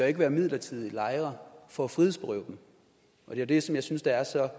ikke være midlertidige lejre for at frihedsberøve dem og det er det som jeg synes er så